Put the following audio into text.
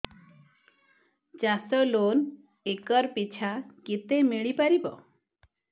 ଚାଷ loan acre ପିଛା କେତେ ମିଳି ପାରିବ